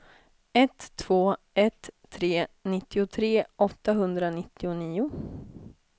ett två ett tre nittiotre åttahundranittionio